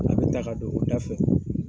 A bɛ taa ka don o da fɛ.